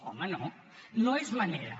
home no no és manera